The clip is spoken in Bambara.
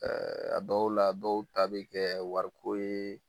Ɛɛ a dɔw la dɔw ta be kɛ wariko ye